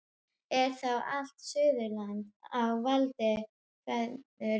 Er þá allt Suðurland á valdi föður þíns?